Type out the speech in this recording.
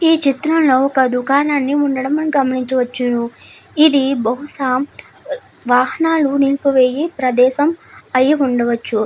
ఈ చిత్రంలో ఒక దుకాణాన్న ఉండడం మనము గమనించవచ్చును. ఇది బహుశా వాహనాలు నిలిపివేయి ప్రదేశం అయ్యుండొచ్చును.